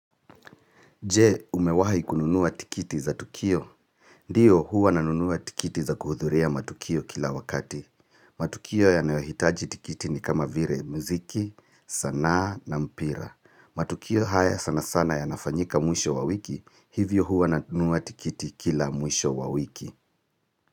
Je, umewahi kununuwa tikiti za Tukio? Ndiyo huwa nanunua tikiti za kuhudhuria matukio kila wakati. Matukio yanayohitaji tikiti ni kama vile mziki, sanaa na mpira. Matukio haya sana sana yanafanyika mwisho wa wiki, hivyo huwa nanunuwa tikiti kila mwisho wa wiki.